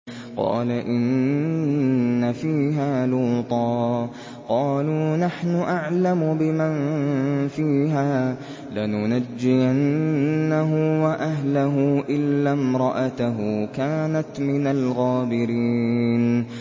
قَالَ إِنَّ فِيهَا لُوطًا ۚ قَالُوا نَحْنُ أَعْلَمُ بِمَن فِيهَا ۖ لَنُنَجِّيَنَّهُ وَأَهْلَهُ إِلَّا امْرَأَتَهُ كَانَتْ مِنَ الْغَابِرِينَ